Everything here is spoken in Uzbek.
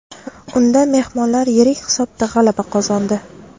Unda mehmonlar yirik hisobda g‘alaba qozondi.